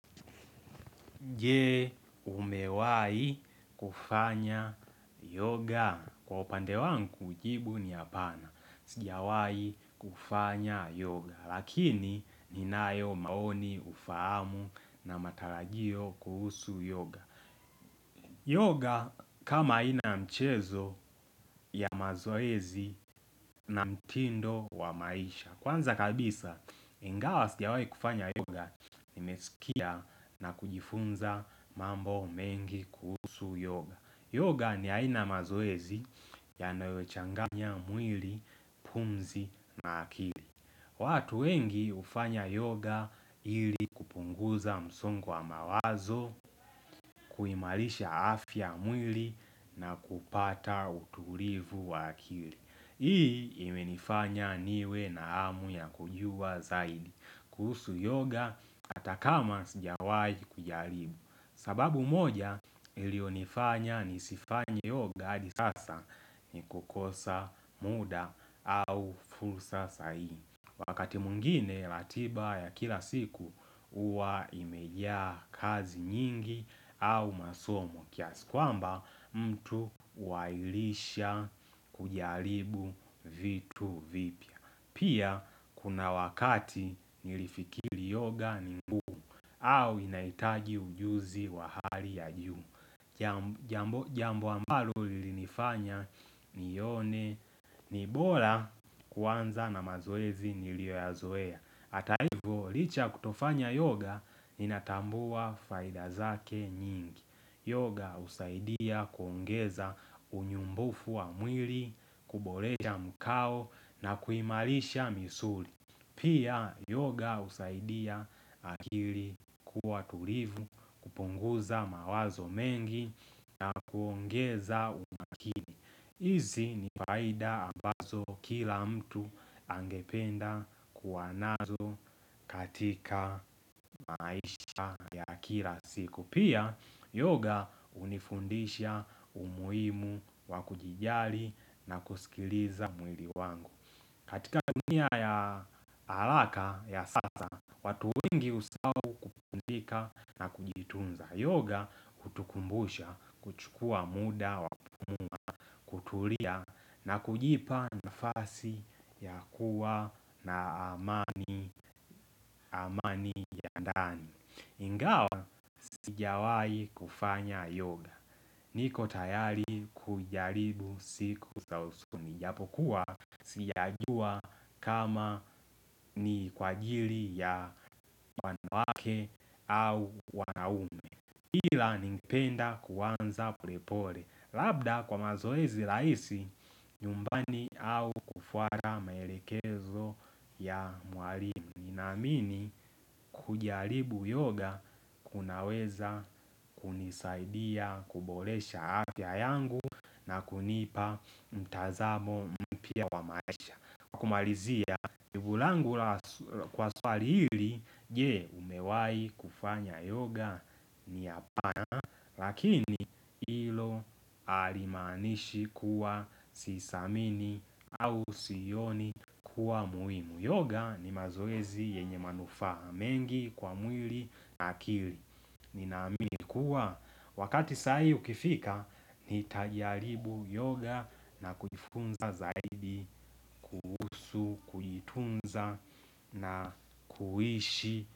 Je umewai kufanya yoga. Kwa upande wangu jibu ni apana. Sijawai kufanya yoga lakini ninayo maoni ufahamu na matarajio kuhusu yoga. Yoga kama ina mchezo ya mazoezi na mtindo wa maisha kwanza kabisa ingawa sijawai kufanya yoga nimesikia na kujifunza mambo mengi kuhusu yoga yoga ni aina ya mazoezi yanayochanganya mwili pumzi na akili. Watu wengi hufanya yoga ili kupunguza msongo wa mawazo kuhimarisha afya ya mwili na kupata utulivu wa akili. Hii imenifanya niwe na hamu ya kujua zaidi kuhusu yoga atakama sijawahi kujaribu. Sababu moja iliyonifanya nisifanya yoga hadi sasa ni kukosa muda au fursa sahihi. Wakati mwingine ratiba ya kila siku huwa imejaa kazi nyingi au masomo kiasikwamba mtu huahirisha kujaribu vitu vipya. Pia kuna wakati nilifikiri yoga ni ngumu au inahitaji ujuzi wa hali ya juu. Jambo ambalo lilinifanya nione ni bora kuanza na mazoezi niliyoyazoea hata hivo licha ya kutofanya yoga inatambua faida zake nyingi yoga husaidia kwongeza unyumbufu wa mwili kuboresha mkao na kuimarisha misuli pia yoga husaidia akili kuwa tulivu kupunguza mawazo mengi na kuongeza umakini hizi ni faida ambazo kila mtu angependa kuwa nazo katika maisha ya akira siku pia yoga unifundisha umuhimu wakujijali na kusikiliza mwili wangu. Katika dunia ya alaka ya sasa watu wengi husahao kupunzika na kujitunza yoga hutukumbusha kuchukua muda wa kutulia na kujipa nafasi ya kuwa na amani amani ya ndani. Ingawa sijawai kufanya yoga niko tayari kujaribu siku za usoni. Japokuwa sijajua kama ni kwa jiri ya wanawake au wanaume ila ningependa kuanza pole pole labda kwa mazoezi rahisi nyumbani au kufuata maelekezo ya mwalimu ninaamini kujaribu yoga kunaweza kunisaidia kuboresha afya yangu na kunipa mtazamo mpya wa maisha kwa kukumalizia jibu langu kwa swali hili. Je umewai kufanya yoga ni hapana. Lakini hilo halimaanishi kuwa sisamini au sioni kuwa muhimu yoga ni mazoezi yenye manufaha mengi kwa mwili na akili. Ninaamini kuwa wakati sahihi ukifika nitajaribu yoga na kujifunza zaidi kuhusu tunza na kuishi.